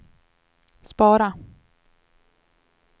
spara